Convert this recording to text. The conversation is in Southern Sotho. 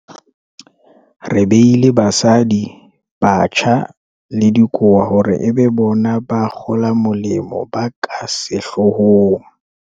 Re beile basadi, batjha le dikowa hore e be bona ba kgolamolemo ba ka sehloo hong.